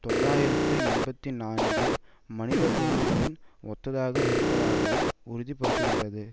தொள்ளாயிரத்து எண்பத்தி நான்கு மனிதக்குரங்குகளின் ஒத்ததாக இருப்பதாகவும் உறுதிப்படுத்துகின்றது